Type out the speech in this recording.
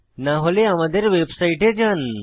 না হলে আমাদের ওয়েবসাইটে যান